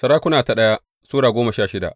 daya Sarakuna Sura goma sha shida